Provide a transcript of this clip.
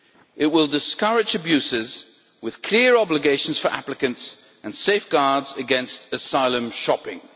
It will discourage abuses, with clear obligations for applicants and safeguards against asylum shopping'.